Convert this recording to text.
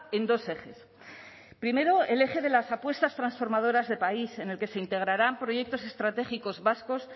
en dos ejes primeo el eje de las apuestas transformadoras de país en el que se integrarán proyectos estratégicos vascos